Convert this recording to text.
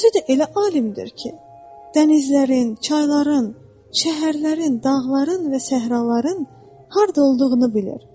Özü də elə alimdir ki, dənizlərin, çayların, şəhərlərin, dağların və səhraların harda olduğunu bilir.